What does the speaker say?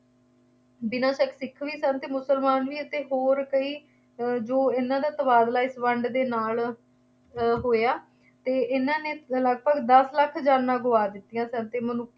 ਬਿਨਾ ਸ਼ੱਕ ਸਿੱਖ ਵੀ ਸਨ ਅਤੇ ਮੁਸਲਮਾਨ ਵੀ, ਅਤੇ ਹੋਰ ਕਈ ਜੋ ਇਹਨਾ ਦਾ ਤਬਾਦਲਾ ਇਸ ਵੰਡ ਦੇ ਨਾਲ ਅਹ ਹੋਇਆ ਅਤੇ ਇਹਨਾ ਨੇ ਲਗਭਗ ਦੱਸ ਲੱਖ ਜਾਨਾਂ ਗੁਆ ਦਿੱਤੀਆਂ ਸਨ ਅਤੇ ਮ~